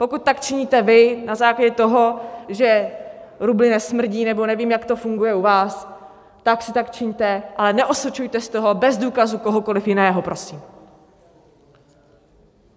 Pokud tak činíte vy na základě toho, že rubly nesmrdí nebo nevím, jak to funguje u vás, tak si tak čiňte, ale neosočujte z toho bez důkazů kohokoli jiného, prosím.